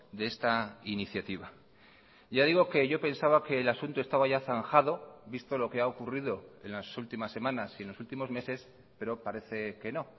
de esta iniciativa ya digo que yo pensaba que el asunto estaba ya zanjado visto lo que ha ocurrido en las últimas semanas y en los últimos meses pero parece que no